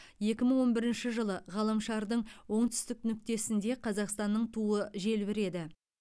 екі мың он бірінші жылы ғаламшардың оңтүстік нүктесінде қазақстанның туы желбіреді